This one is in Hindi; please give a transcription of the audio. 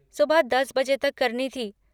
सुबह दस बजे तक करनी थी।